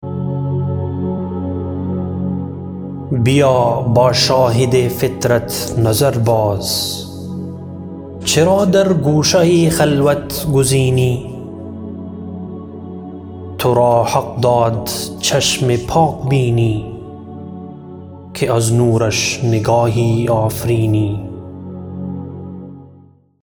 بیا با شاهد فطرت نظر باز چرا در گوشه خلوت گزینی ترا حق داد چشم پاک بینی که از نورش نگاهی آفرینی